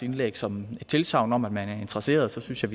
indlæg som et tilsagn om at man er interesseret så synes jeg